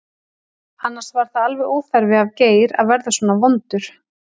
Annars var það alveg óþarfi af Geir að verða svona vondur.